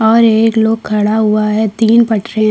और एक लोग खड़ा हुआ है तीन पटरियां --